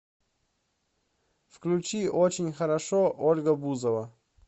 включи очень хорошо ольга бузова